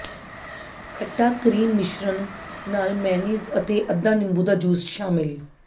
ਖੱਟਾ ਕਰੀਮ ਮਿਸ਼ਰਣ ਨਾਲ ਮੇਅਨੀਜ਼ ਅਤੇ ਅੱਧਾ ਨਿੰਬੂ ਦਾ ਜੂਸ ਸ਼ਾਮਿਲ